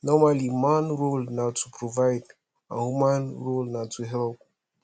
normally man role na to provide and woman role na to help